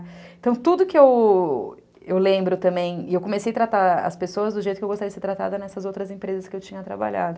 Então tudo que eu lembro também, e eu comecei a tratar as pessoas do jeito que eu gostaria de ser tratada nessas outras empresas que eu tinha trabalhado.